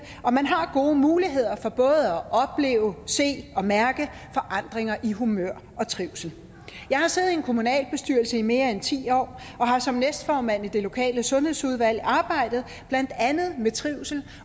og man har gode muligheder for både at opleve se og mærke forandringer i humør og trivsel jeg har siddet i en kommunalbestyrelse i mere end ti år og har som næstformand i det lokale sundhedsudvalg arbejdet blandt andet med trivsel